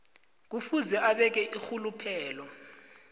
kufuze abeke irhuluphelo